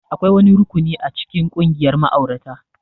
Akwai wani rukuni a cikin ƙungiyar ma'aurata